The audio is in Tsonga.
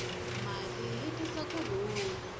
mali yi tisa ku rhula